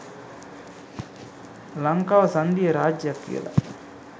ලංකාව සංධීය රාජ්‍යයක් කියල.